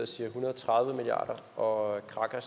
siger en hundrede og tredive milliard kr og kraka har